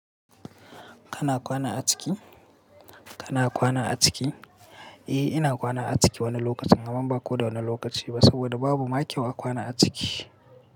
Kana kwana a ciki? Kana kwana a ciki? Eh, ina kwana a ciki wani lokaci, amma ba ko da wane lokaci ba saboda babu maƙiya kwana a ciki.